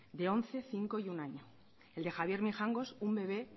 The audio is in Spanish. de once cinco y uno año el de javier mijangos un bebé